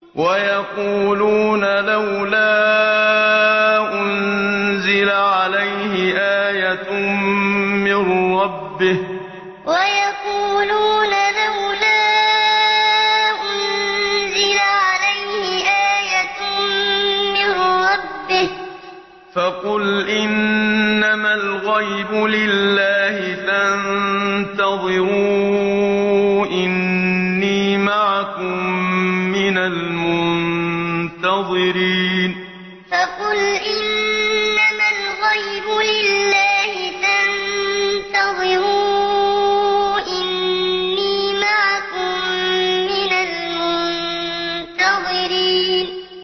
وَيَقُولُونَ لَوْلَا أُنزِلَ عَلَيْهِ آيَةٌ مِّن رَّبِّهِ ۖ فَقُلْ إِنَّمَا الْغَيْبُ لِلَّهِ فَانتَظِرُوا إِنِّي مَعَكُم مِّنَ الْمُنتَظِرِينَ وَيَقُولُونَ لَوْلَا أُنزِلَ عَلَيْهِ آيَةٌ مِّن رَّبِّهِ ۖ فَقُلْ إِنَّمَا الْغَيْبُ لِلَّهِ فَانتَظِرُوا إِنِّي مَعَكُم مِّنَ الْمُنتَظِرِينَ